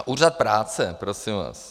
A Úřad práce, prosím vás.